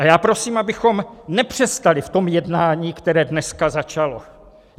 A já prosím, abychom nepřestali v tom jednání, které dneska začalo.